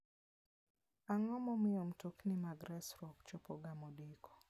Ang'o momiyo mtokni mag resruok chopoga modeko?